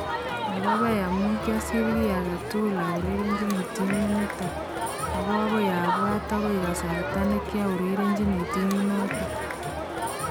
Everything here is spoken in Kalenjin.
Maapaipai amau kiasir ki age tugul aurerenchini timit nit, ak akoi apwat akoi kasartanekiaurerenchini timit notok